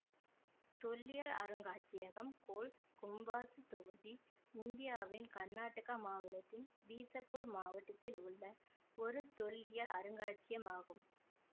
தொல்லியல் அருங்காட்சியகம் கோல் கும்பாசுத் தொகுதி இந்தியாவின் கர்நாடக மாநிலத்தின் பீசப்பூர் மாவட்டத்தில் உள்ள ஒரு தொல்லியல் அருங்காட்சியகம் ஆகும்